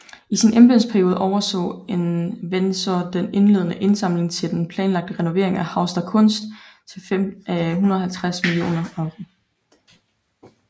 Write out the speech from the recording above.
I sin embedsperiode overså Enwezor den indledende indsamling til den planlagte renovering af Haus der Kunst til 150 millioner euro